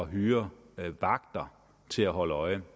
hyre vagter til at holde øje